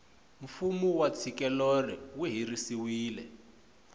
fumu wa tshikelelo wu herisiwile